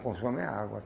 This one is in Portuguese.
Consome a água.